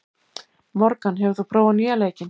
Morgan, hefur þú prófað nýja leikinn?